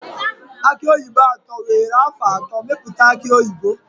Aki oyibo atọ were afọ atọ mepụta aki oyibo.